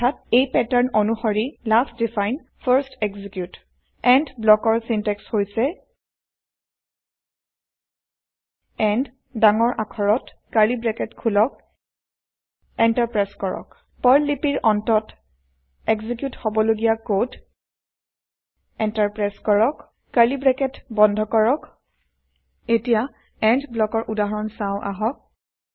অৰ্থাৎ এই পেটাৰ্ণ অনুসৰি last define first execute end ব্লকৰ চিনটেক্স হৈছে এণ্ড ডাঙৰ আখৰত কাৰ্লী ব্ৰেকেট খোলক এন্টাৰ প্ৰেছ কৰক পাৰ্ল লিপিৰ অন্তত এক্সিকিউত হবলগীয়া কড এন্টাৰ প্ৰেছ কৰক কাৰ্লী ব্ৰেকেট বন্ধ কৰক এতিয়া এণ্ড ব্লকৰ উদাহৰণ চাও আহক